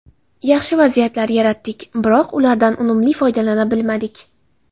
Yaxshi vaziyatlar yaratdik, biroq ulardan unumli foydalana bilmadik.